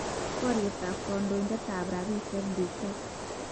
Bariet ab kandoindet ab rabisiek, DK.